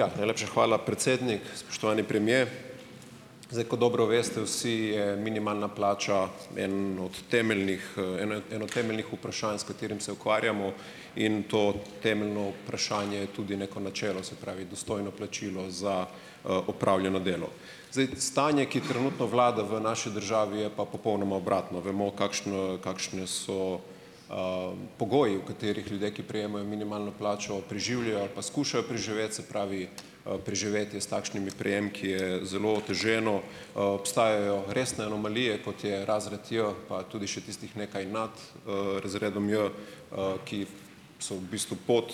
Ja, najlepša hvala, predsednik. Spoštovani premier! Zdaj, kot dobro veste vsi, je minimalna plača en od temeljnih en eno temeljnih vprašanj, s katerim se ukvarjamo, in to temeljno vprašanje tudi neko načelo, se pravi dostojno plačilo za opravljeno delo. Zdaj stanje, ki trenutno vlada v naši državi, je pa popolnoma obratno, vemo, kakšno kakšne so pogoji, v katerih ljudje, ki prejemajo minimalno plačo, preživljajo ali pa skušajo preživeti, se pravi, preživetje s takšnimi prejemki je zelo oteženo. Obstajajo resne anomalije, kot je razred J, pa tudi še tistih nekaj nad razredom J, ki so v bistvu pod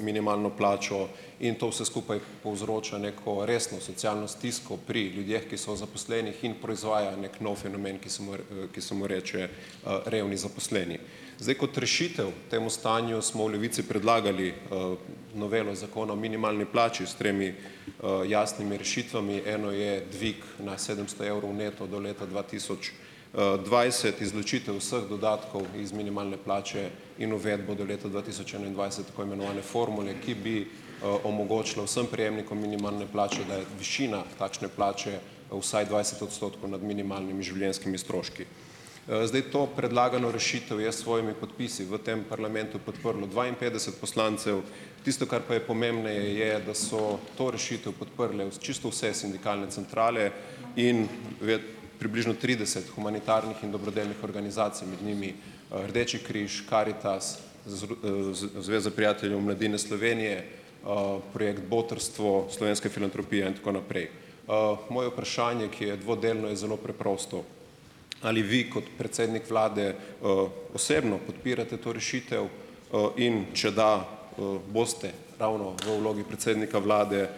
minimalno plačo, in to vse skupaj povzroča neko resno socialno stisko pri ljudeh, ki so zaposlenih, in proizvaja neki nov fenomen, ki se mu ki se mu reče revni zaposleni. Zdaj kot rešitev temu stanju smo v Levici predlagali novelo zakona o minimalni plači s tremi jasnimi rešitvami. Eno je dvig na sedemsto evrov neto do leta dva tisoč dvajset, izločitev vseh dodatkov iz minimalne plače in uvedbo do leta dva tisoč enaindvajset tako imenovane formule, ki bi omogočilo vsem prejemnikom minimalne plače, da je višina takšne plače vsaj dvajset odstotkov nad minimalnimi življenjskimi stroški. Zdaj to predlagano rešitev je s svojimi podpisi v tem parlamentu podprlo dvainpetdeset poslancev. Tisto, kar pa je pomembneje, je, da so to rešitev podprle čisto vse sindikalne centrale in približno trideset humanitarnih in dobrodelnih organizacij, med njimi Rdeči križ, Karitas, Zveza prijateljev mladine Slovenije, projekt Botrstvo, Slovenska filantropija in tako naprej. Moje vprašanje, ki je dvodelno, je zelo preprosto. Ali vi kot predsednik Vlade osebno podpirate to rešitev? In če da, boste ravno v vlogi predsednika Vlade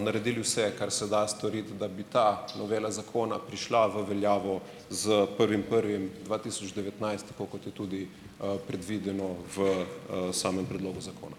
naredili vse, kar se da storiti, da bi ta novela zakona prišla v veljavo s prvim prvim dva tisoč devetnajst, tako kot je tudi predvideno v samem predlogu zakona?